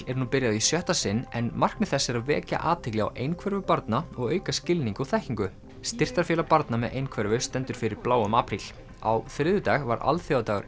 er nú byrjað í sjötta sinn en markmið þess er að vekja athygli á einhverfu barna og auka skilning og þekkingu styrktarfélag barna með einhverfu stendur fyrir bláum apríl á þriðjudag var alþjóðadagur